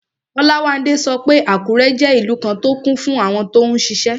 Olawande sọ pé Àkúrẹ́ jẹ́ ìlú kan tó kún fún àwọn tó n ṣiṣẹ́